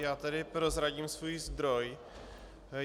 Já tady prozradím svůj zdroj.